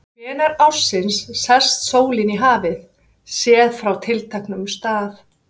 Hvenær ársins sest sólin í hafið, séð frá tilteknum stað?